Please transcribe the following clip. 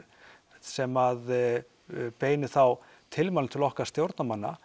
sem að beinum þá tilmælum til okkar stjórnarmanna